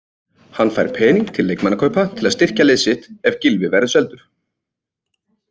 Hann fær pening til leikmannakaupa til að styrkja lið sitt ef Gylfi verður seldur.